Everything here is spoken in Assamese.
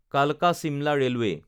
কালকা-শিমলা ৰেলৱে